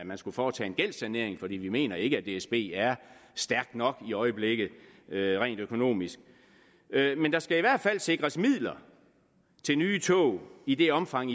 man skulle foretage en gældssanering for vi mener ikke at dsb er stærk nok i øjeblikket rent økonomisk men der skal i hvert fald sikres midler til nye tog i det omfang